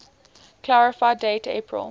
clarify date april